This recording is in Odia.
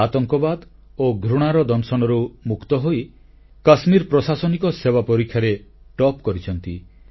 ସେ ଆତଙ୍କବାଦ ଓ ଘୃଣାର ଦଂଶନରୁ ମୁକ୍ତ ହୋଇ କାଶ୍ମୀର ପ୍ରଶାସନିକ ସେବା ପରୀକ୍ଷାରେ ଶୀର୍ଷ ସ୍ଥାନ ହାସଲ କରିଛନ୍ତି